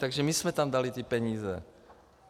Takže my jsme tam dali ty peníze.